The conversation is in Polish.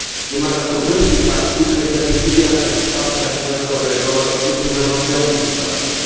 Wymaga to weryfikacji kryteriów udzielania wsparcia finansowego oraz struktur zarządzających bankiem.